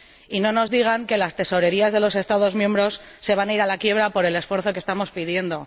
Que no nos digan que las tesorerías de los Estados miembros se van a ir a la quiebra por el esfuerzo que estamos pidiendo.